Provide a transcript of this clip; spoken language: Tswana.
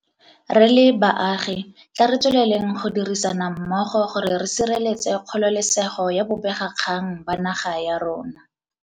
Re le baagi, tla re tsweleleng go dirisana mmogo gore re sireletse kgololesego ya bobe gakgang ba naga ya rona.